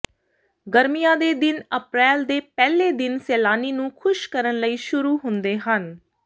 ਗਰਮੀਆਂ ਦੇ ਦਿਨ ਅਪ੍ਰੈਲ ਦੇ ਪਹਿਲੇ ਦਿਨ ਸੈਲਾਨੀ ਨੂੰ ਖੁਸ਼ ਕਰਨ ਲਈ ਸ਼ੁਰੂ ਹੁੰਦੇ ਹਨ